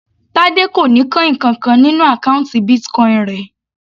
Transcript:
Tade kò ní coin kankan nínú àkọ́ùntì Bitcoin rẹ̀.